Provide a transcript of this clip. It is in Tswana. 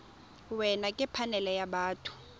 wena ke phanele ya batho